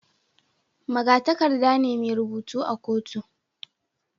Magatakarda ne mai rubutu a kotu